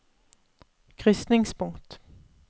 krysningspunkt